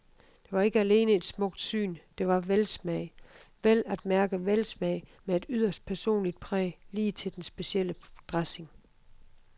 Det var ikke alene et smukt syn, det var velsmag, vel at mærke velsmag med et yderst personligt præg lige til den specielle dressing.